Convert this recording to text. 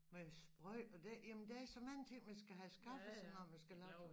Med sprøjte og det jamen der er så mange ting man skal have skaffet sig når man skal lave sådan